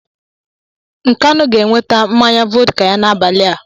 Nkanu ga-eweta mmanya vọdka ya n'abalị a.